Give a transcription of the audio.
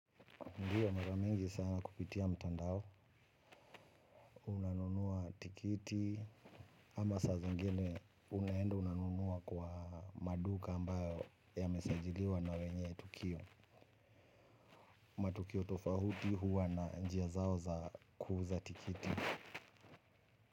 Ndio, mara mingi sana kupitia mtandao unanunua tikiti, ama saa zingine unaenda unanunua kwa maduka ambayo yamesajiliwa na wenye tukio. Matukio tofauti huwa na njia zao za kuuza tikiti.